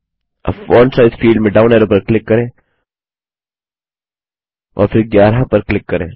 अब font size field में down arrow पर क्लिक करें और फिर 11 पर क्लिक करें